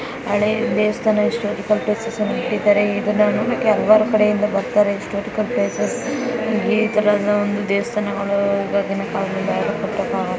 ಹಳೆ ದೇವಸ್ಥಾನ ಇದನ್ನ ನೋಡಕ್ಕೆ ಹಲವಾರು ಕಡೆ ಇಂದ ಬರ್ತಾರೆ ಈ ತರದ ಒಂದು ದೇವಸ್ಥಾನಗಳು ಇವಗಿನ್ ಕಾಲದಲ್ಲಿ ಯಾರು ಕಟ್ಟಕ್ಕೆ ಆಗಲ್ಲ .